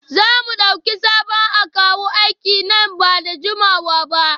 Za mu dauki sabon akawu aiki nan ba da jimawa ba?